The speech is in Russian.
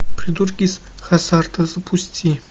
придурки из хаззарда запусти